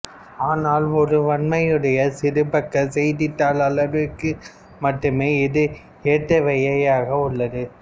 ஆனால் ஒரேவண்ணமுடைய சிறுபக்க செய்தித்தாள் அளவிற்கு மட்டுமே இது ஏற்றவையாக உள்ளன